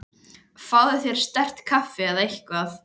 Fáðu þér sterkt kaffi eða eitthvað.